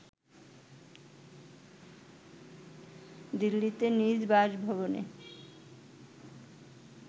দিল্লিতে নিজ বাসভবনে